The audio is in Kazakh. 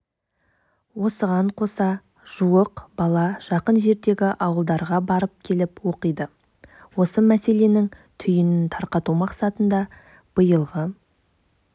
оған қоса жуық бала жақын жердегі ауылдарға барып-келіп оқиды осы мәселенің түйінін тарқату мақсатында биылғы